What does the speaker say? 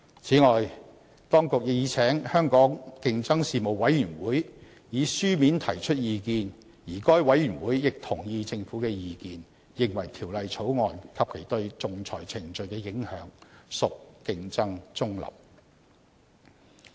此外，當局已請香港競爭事務委員會以書面提出意見，而該委員會亦同意政府的意見，認為《條例草案》及其對仲裁程序的影響屬競爭中立。